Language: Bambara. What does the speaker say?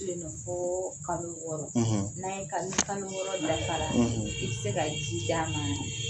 Fo kalo wɔɔrɔ ni kalo wɔɔrɔ dafa la i bɛ se ka ji d'ma na.